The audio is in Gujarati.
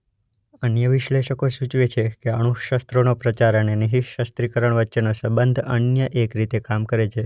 અન્ય વિશ્લેષકો સૂચવે છે કે અણુશસ્રોનો પ્રસાર અને નિશસ્રીકરણ વચ્ચેનો સંબંધ અન્ય એક રીતે કામ કરે છે.